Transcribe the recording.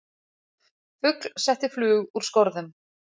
Fugl setti flug úr skorðum